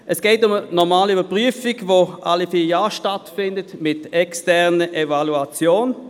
Es geht um eine normale Überprüfung, welche alle vier Jahre stattfindet mit einer externen Evaluation.